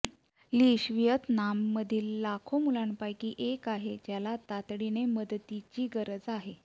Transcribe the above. लिन्श व्हिएतनाममधील लाखो मुलांपैकी एक आहे ज्याला तातडीने मदतीची गरज आहे